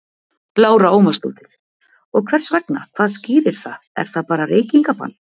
Lára Ómarsdóttir: Og hvers vegna, hvað skýrir það, er það bara reykingabann?